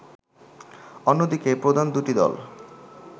অন্যদিকে প্রধান দুটি দল